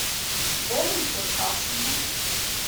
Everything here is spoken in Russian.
дэну черкашину